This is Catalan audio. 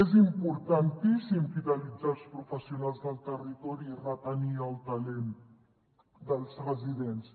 és importantíssim fidelitzar els professionals del territori i retenir el talent dels residents